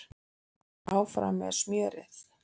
Áfram með smjörið